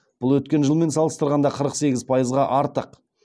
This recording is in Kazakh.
бұл өткен жылмен салыстырғанда қырық сегіз пайызға артық